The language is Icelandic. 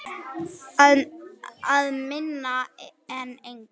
Að minna en engu.